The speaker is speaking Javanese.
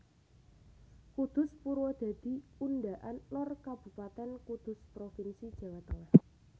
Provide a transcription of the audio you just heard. Kudus Purwodadi Undaan Lor Kabupatèn Kudus provinsi Jawa Tengah